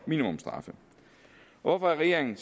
minimumsstraffe hvorfor er regeringen